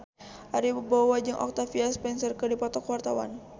Ari Wibowo jeung Octavia Spencer keur dipoto ku wartawan